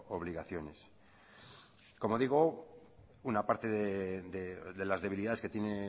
obligaciones como digo una parte de las debilidades que tiene